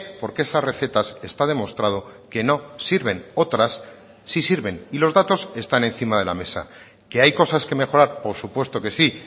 porque esas recetas está demostrado que no sirven otras sí sirven y los datos están encima de la mesa que hay cosas que mejorar por supuesto que sí